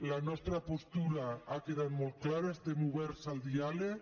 la nostra postura ha quedat molt clara estem oberts al diàleg